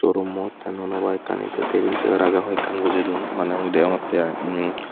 shorumot te nuo nuo bike ani te tebil say r ho ekkan bojey don mane mui degongotte ibl mm.